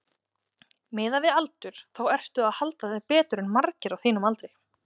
Miðað við aldur þá ertu að halda þér betur en margir á þínum aldri?